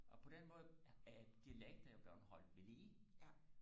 og på den måde er dialekter jo blevet holdt ved lige